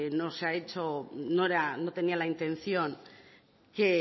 no se ha hecho honor no tenía la intención que